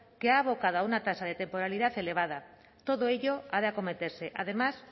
que ha abocado a una tasa de temporalidad elevada todo ello ha de acometerse además